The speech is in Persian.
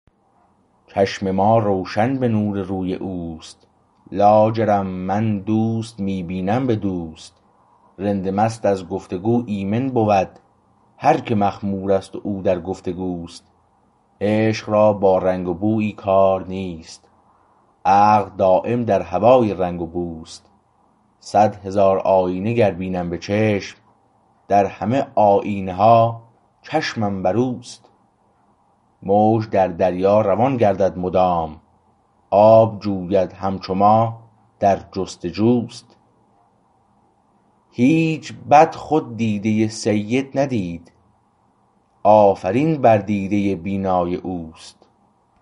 چشم ما روشن به نور روی اوست لاجرم من دوست می بینم به دوست رند مست از گفت و گو ایمن بود هر که مخمور است او در گفتگوست عشق را با رنگ و بویی کار نیست عقل دایم در هوای رنگ و بوست صد هزار آیینه گر بینم به چشم در همه آیینه ها چشمم بر اوست موج در دریا روان گردد مدام آب جوید همچو ما در جستجوست هیچ بد خود دیده سید ندید آفرین بر دیده بینای اوست